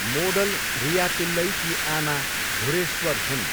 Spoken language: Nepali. मोडल रिया पिल्लईकी आमा धुरेश्वर हुन्।